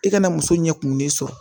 I kana muso ɲɛ kumulen sɔrɔ